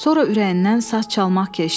Sonra ürəyindən saz çalmaq keçdi.